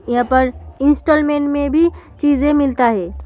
यहां पर इंस्टॉलमेंट में भी चीजें मिलता हैं।